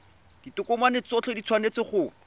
ditokomane tsotlhe di tshwanetse go